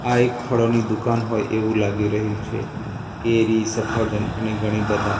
આ એક ફળોની દુકાન હોય એવુ લાગી રહ્યુ છે કેરી સફરજન અને ઘણી બધા--